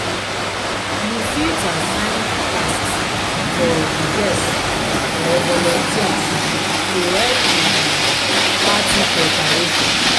you fit assign tasks for di guests or volunteers to help with di party preparations.